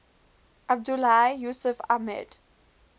abdullahi yusuf ahmed